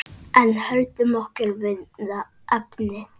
En höldum okkur við efnið.